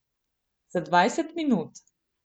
Za dvajset minut.